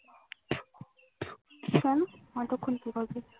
কেন অতক্ষণ কি করবি?